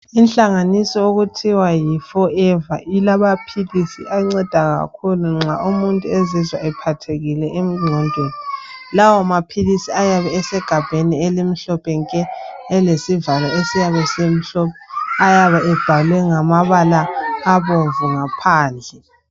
Inhlanganiso okuthiwa yi forever ilamaphilisi anceda kakhulu nxa umuntu ezizwa ephathekile enqondweni lawa maphilisi ayaba esegabheni elimhlophe nke elesivalo esiyabe simhlophe ayaba ebhalwe ngamabala abomvu ngaphandle